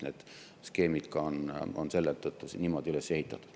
Need skeemid on ka selle tõttu niimoodi üles ehitatud.